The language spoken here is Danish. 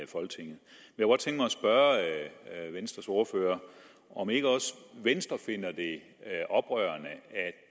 spørge venstres ordfører om ikke også venstre finder det oprørende